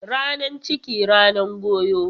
Ranan ciki, ranan goyo.